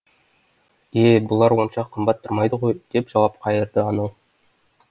е бұлар онша қымбат тұрмайды ғой деп жауап қайырды анау